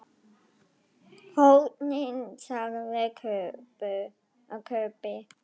HORNIN, sagði Kobbi.